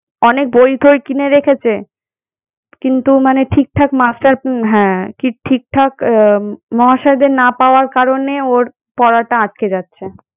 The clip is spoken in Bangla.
অনেক বই-টই কিনে রেখেছে, কিন্তু মানে ঠিক ঠাক master উম হ্যাঁ কি ঠিক ঠাক আহ মহাশয়দের না পাওয়ার কারণে ওর পড়াটা আটকে যাচ্ছে।